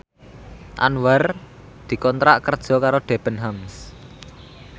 Anwar dikontrak kerja karo Debenhams